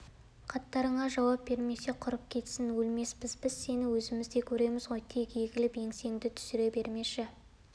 хаттарыңа жауап бермесе құрып кетсін өлмеспіз біз сені өзіміздей көреміз ғой тек егіліп еңсеңді түсіре бермеші